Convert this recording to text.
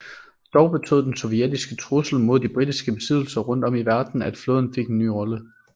Dog betød den sovjetiske trussel mod de britiske besiddelser rundt om i verden at flåden fik en ny rolle